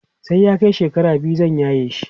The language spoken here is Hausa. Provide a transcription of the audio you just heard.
sai ya Kai shekara biyu zan yaye shi